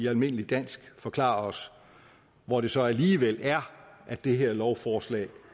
almindelig dansk forklarer os hvor det så alligevel er at det her lovforslag